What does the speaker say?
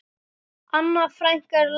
Anna frænka er látin.